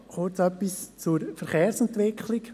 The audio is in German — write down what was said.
Noch kurz zur Verkehrsentwicklung: